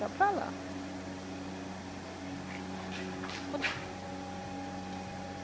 Está para lá.